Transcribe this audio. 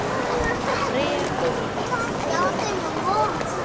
reye gore re tla leta